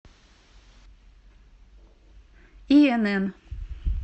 инн